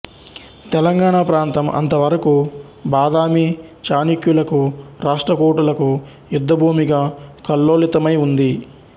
తెలంగాణ ప్రాంతం అంతవరకు బాదామి చాళుక్యులకు రాష్ట్రకూటులకు యుద్ధభూమిగా కల్లోలితమై ఉంది